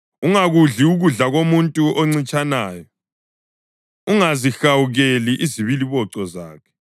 Ungakudli ukudla komuntu oncitshanayo, ungazihawukeli izibiliboco zakhe;